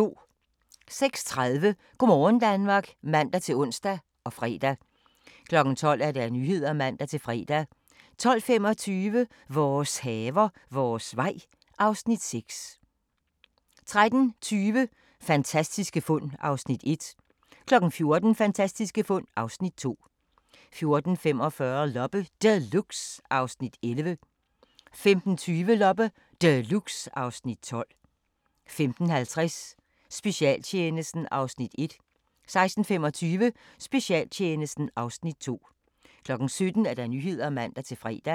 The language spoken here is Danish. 06:30: Go' morgen Danmark (man-ons og fre) 12:00: Nyhederne (man-fre) 12:25: Vores haver, vores vej (Afs. 6) 13:20: Fantastiske fund (Afs. 1) 14:00: Fantastiske fund (Afs. 2) 14:45: Loppe Deluxe (Afs. 11) 15:20: Loppe Deluxe (Afs. 12) 15:50: Specialtjenesten (Afs. 1) 16:25: Specialtjenesten (Afs. 2) 17:00: Nyhederne (man-fre)